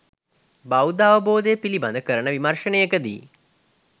බෞද්ධ අවබෝධය පිළිබඳ කරන විමර්ශනයකදී